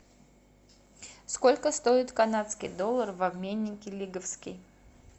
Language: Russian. сколько стоит канадский доллар в обменнике лиговский